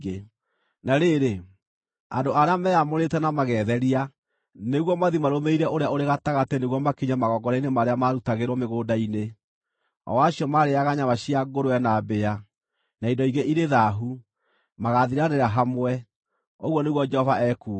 “Na rĩrĩ, andũ arĩa meamũrĩte na magetheria nĩguo mathiĩ marũmĩrĩire ũrĩa ũrĩ gatagatĩ nĩguo makinye magongona-inĩ marĩa marutagĩrwo mĩgũnda-inĩ, o acio marĩĩaga nyama cia ngũrwe na mbĩa, na indo ingĩ irĩ thaahu, magaathiranĩra hamwe,” ũguo nĩguo Jehova ekuuga.